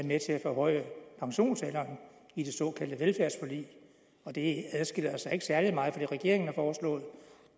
med til at forhøje pensionsalderen i det såkaldte velfærdsforlig og det adskiller sig ikke særlig meget fra det regeringen har foreslået